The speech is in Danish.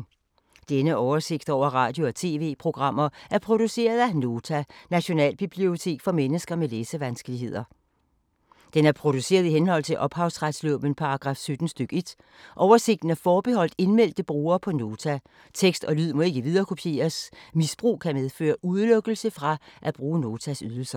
Denne oversigt over radio og TV-programmer er produceret af Nota, Nationalbibliotek for mennesker med læsevanskeligheder. Den er produceret i henhold til ophavsretslovens paragraf 17 stk. 1. Oversigten er forbeholdt indmeldte brugere på Nota. Tekst og lyd må ikke viderekopieres. Misbrug kan medføre udelukkelse fra at bruge Notas ydelser.